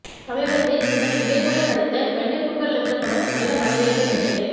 சமீபத்தில் இவர் விவேக்குடன் நடித்த வெள்ளைப்பூக்கள் என்ற படம் நல்ல வரவேற்பை பெற்றது